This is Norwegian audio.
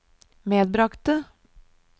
medbragte